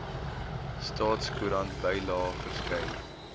staatskoerant bylae verskyn